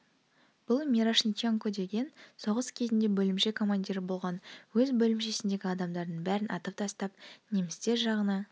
бұл мирошниченко деген соғыс кезінде бөлімше командирі болған өз бөлімшесіндегі адамадардың бәрін атып тастап немістер жағына